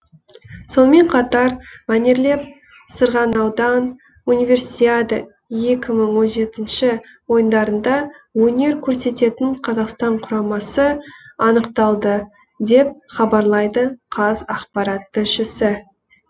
сонымен қатар мәнерлеп сырғанаудан универсиада екі мың он жетінші ойындарында өнер көрсететін қазақстан құрамасы анықталды деп хабарлайды қазақпарат тілшісі